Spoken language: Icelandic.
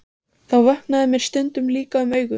Þá vöknaði mér stundum líka um augu.